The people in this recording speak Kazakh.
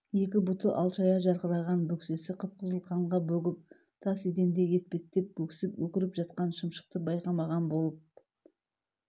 екі бұты алшая жарқыраған бөксесі қып-қызыл қанға бөгіп тас еденде етпеттеп өксіп өкіріп жатқан шымшықты байқамаған болып